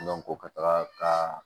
ka taga ka